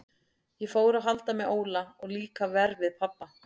Ég fór að halda með Óla og líka verr við pabba.